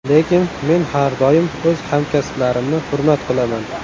Lekin men har doim o‘z hamkasblarimni hurmat qilaman.